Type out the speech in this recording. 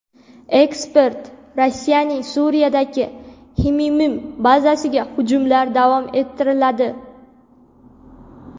Ekspert: Rossiyaning Suriyadagi Xmeymim bazasiga hujumlar davom ettiriladi.